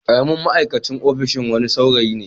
Karamin ma'aikacin ofishin wani saurayi ne.